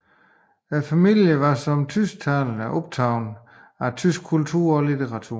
Familien var som tysktalende optaget af tysk kultur og litteratur